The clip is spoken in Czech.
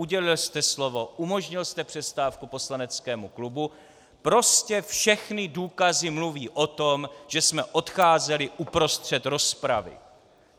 Udělil jste slovo, umožnil jste přestávku poslaneckému klubu, prostě všechny důkazy mluví o tom, že jsme odcházeli uprostřed rozpravy.